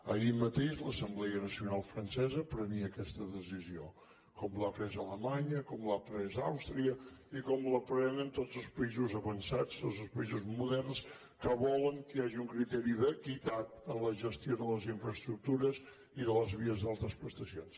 ahir mateix l’assemblea nacional francesa prenia aquesta decisió com l’ha pres alemanya com l’ha pres àustria i com la prenen tots els països avançats tots els països moderns que volen que hi hagi un criteri d’equitat en la gestió de les infraestructures i de les vies d’altes prestacions